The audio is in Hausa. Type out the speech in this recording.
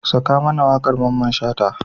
Saka mana waƙar Mamman Shata.